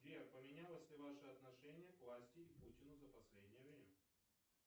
сбер поменялось ли ваше отношение к власти и путину за последнее время